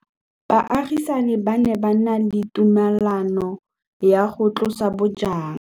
Baagisani ba ne ba na le tumalanô ya go tlosa bojang.